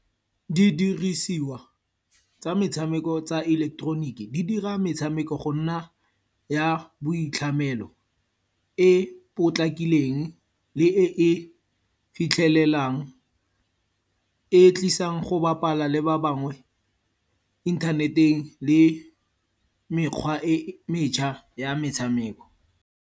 Didirisiwa tsa metshameko tsa ileketeroniki, di dira metshameko go nna ya boitlhamelo. E potlakileng le e e fitlhelelang, e tlisang go bapala le ba bangwe internet-eng le mekgwa e metšha ya metshameko.